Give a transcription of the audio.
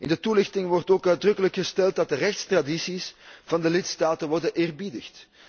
In de toelichting wordt ook uitdrukkelijk gesteld dat de rechtstradities van de lidstaten worden geëerbiedigd.